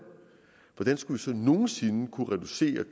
hvordan skulle vi så nogen sinde kunne reducere